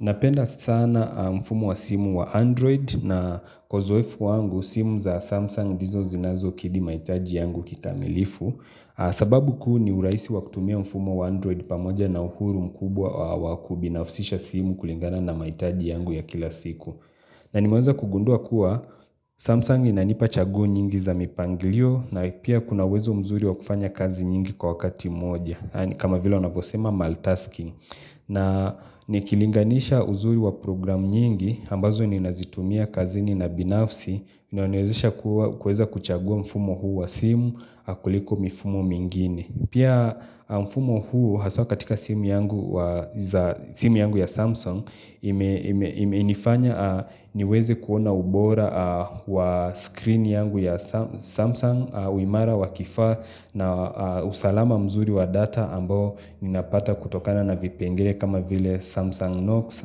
Napenda sana mfumu wa simu wa Android na kozoefu wangu simu za Samsung dizo zinazo kidi maitaji yangu kitamilifu sababu ku ni uraisi wa kutumia mfumu wa Android pamoja na uhuru mkubwa wa wakubinaufisisha simu kulingana na mahitaji yangu ya kila siku na nimaweza kugundua kuwa Samsung inanipa chaguo nyingi za mipangilio na ipia kunawezo mzuri wa kufanya kazi nyingi kwa wakati moja kama vila wanavosema maltasking na nikilinganisha uzuri wa programu nyingi, ambazo ni nazitumia kazini na binafsi, nionezisha kuweza kuchagua mfumo huu wa simu, akuliko mfumo mingini. Pia mfumo huu haswa katika simu yangu ya Samsung, inifanya niweze kuona ubora wa screen yangu ya Samsung, uimara wakifaa na usalama mzuri wa data ambao ninapata kutokana na vipengere kama vile Samsung Note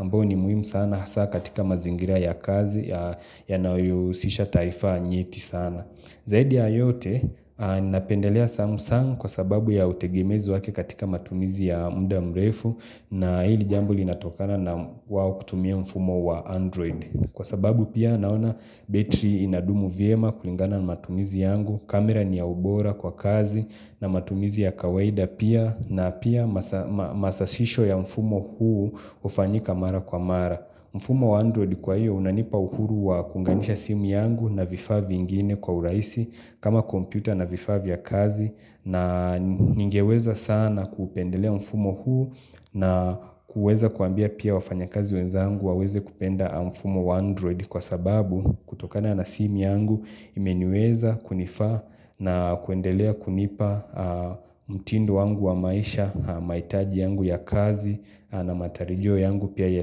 ambo ni muhimu sana hasa katika mazingira ya kazi ya nayehusisha taifa nyeti sana. Zaidi ya yote, ninapendelea Samsung kwa sababu ya utegemezi wake katika matumizi ya muda mrefu na hili jambo linatokana na wawo kutumia mfumo wa Android. Kwa sababu pia naona battery inadumu vyema kulingana matumizi yangu kamera ni ya ubora kwa kazi na matumizi ya kawaida pia na pia masasisho ya mfumo huu ufanyika mara kwa mara. Mfumo wa Android kwa iyo unanipa uhuru wa kunganisha simi yangu na vifavi ingine kwa uraisi kama kompyuta na vifavi ya kazi na ningeweza sana kupendelea mfumo huu na kuweza kuambia pia wafanya kazi wezangu waweze kupenda mfumo wa Android kwa sababu kutokana na simi yangu imenyeweza kunifa na kuendelea kunipa mtindo wangu wa maisha mahitaji yangu ya kazi na matarijiyo yangu pia ya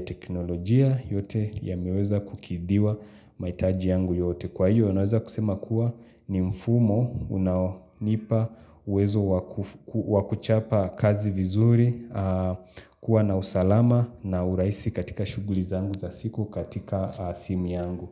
teknolojia yote yameweza kukidiwa maitaji yangu yote kwa hiyo yanaweza kusema kuwa ni mfumo unaonipa uwezo wakuchapa kazi vizuri kuwa na usalama na uraisi katika shughuli zangu za siku katika simu yangu.